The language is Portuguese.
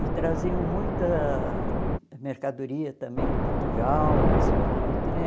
E traziam muita mercadoria também de Portugal para expor na vitrine.